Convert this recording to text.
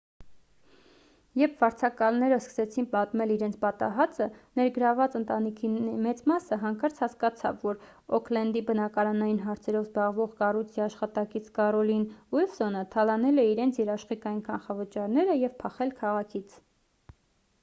երբ վարձակալները սկսեցին պատմել իրենց պատահածը ներգրավված ընտանիքների մեծ մասը հանկարծ հասկացավ որ օքլենդի բնակարանային հարցերով զբաղվող կառույցի աշխատակից կառոլին ուիլսոնը թալանել է իրենց երաշխիքային կանխավճարները և փախել քաղաքից